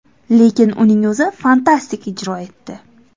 Lekin uning o‘zi fantastik ijro etdi.